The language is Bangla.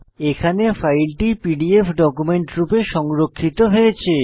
এখানে ফাইলটি পিডিএফ ডকুমেন্ট রূপে সংরক্ষিত হয়েছে